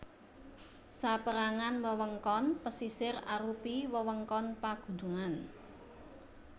Saperangan wewengkon pesisir arupi wewengkon pagunungan